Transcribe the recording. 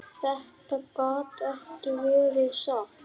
Þetta gat ekki verið satt.